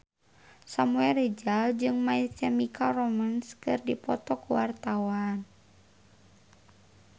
Samuel Rizal jeung My Chemical Romance keur dipoto ku wartawan